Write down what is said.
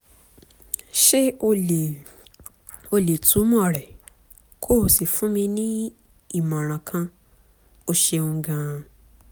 ṣé o lè o lè túmọ̀ rẹ̀ kó o sì fún mi ní ìmọ̀ràn kan? o ṣeun gan-an